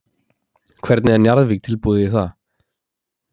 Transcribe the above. Hvernig er Njarðvík tilbúið í það?